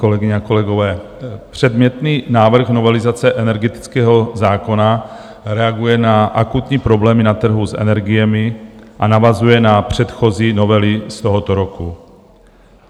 Kolegyně a kolegové, předmětný návrh novelizace energetického zákona reaguje na akutní problémy na trhu s energiemi a navazuje na předchozí novely z tohoto roku.